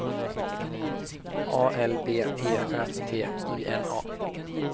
A L B E R T I N A